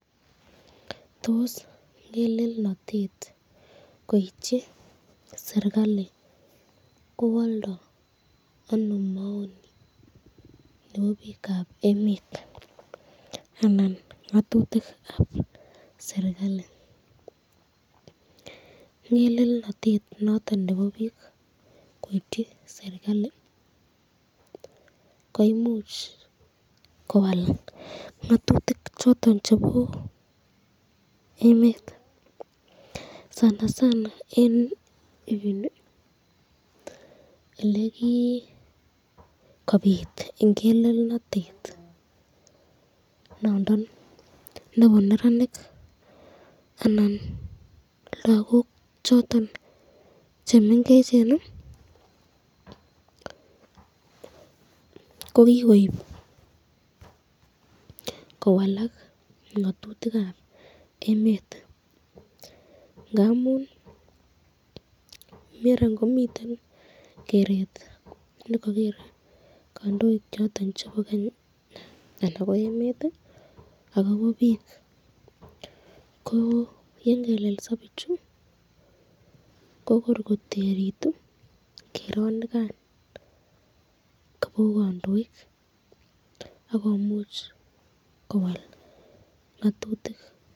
Tos ngelelnatet koityi srikalit kowaldo ano maoni nebo bikab emet, anan ngatutikab serikalit , ngelelnatet noton nebo bik koityi serikali koimuch kowal ngatutik choton chebo emet , sanasana eng ibini elekikobit ingelenotet nebo neranik anan lagok choton chemengecheni, kokukoib kowalak ngatutikab emet, ngamun maran komiten keret nrkager kandoik choton chebo Kenya anan ko emet akobo bik ko yengelelso bichu ko kor koterutu keronikan kabo kandoik akomuch kowal ngatutik.